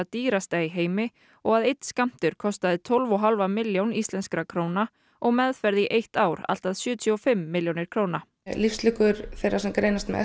dýrasta í heimi og að einn skammtur kostaði tólf og hálfa milljón íslenskra króna og meðferð í eitt ár allt að sjötíu og fimm milljónir króna lífslíkur þeirra sem greinast með